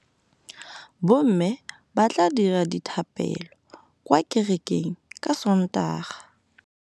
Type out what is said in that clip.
Bommê ba tla dira dithapêlô kwa kerekeng ka Sontaga.